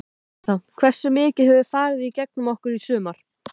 Veistu það, hversu mikið hefur farið gegn okkur í sumar?